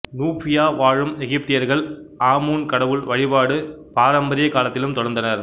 Nubia வாழும் எகிப்தியர்கள் Amun கடவுள் வழிபாடு பாரம்பரியக் காலத்திலும் தொடர்ந்தனர்